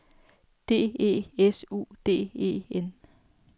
D E S U D E N